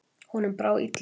Honum brá illilega.